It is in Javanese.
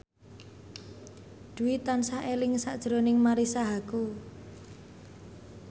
Dwi tansah eling sakjroning Marisa Haque